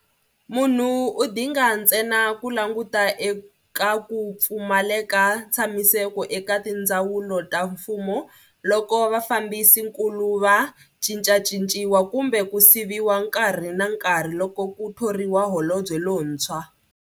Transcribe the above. Munhu u dinga ntsena ku languta eka ku pfumaleka ntshamiseko eka tindzawulo ta mfumo loko vafambisi nkulu va cincacinciwa kumbe ku siviwa nkarhi na nkarhi loko ku thoriwa Holobye lontshwa.